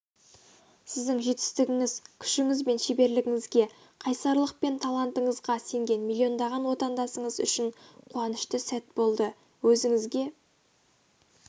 сіздің жетістігіңіз күшіңіз бен шеберлігіңізге қайсарлық пен талантыңызға сенген миллиондаған отандасыңыз үшін қуанышты сәт болды өзіңізге